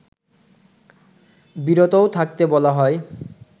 বিরতও থাকতে বলা হয়